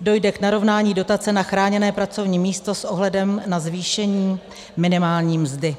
dojde k narovnání dotace na chráněné pracovní místo s ohledem na zvýšení minimální mzdy.